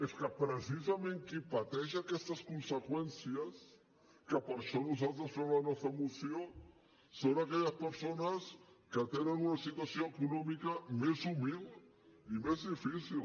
és que precisament qui pateix aquestes conseqüències que per això nosaltres fem la nostra moció són aquelles persones que tenen una situació econòmica més humil i més difícil